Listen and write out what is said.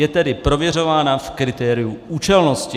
Je tedy prověřována v kritériu účelnosti.